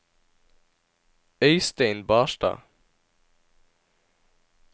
Øistein Barstad